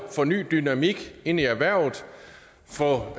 få en ny dynamik ind i erhvervet få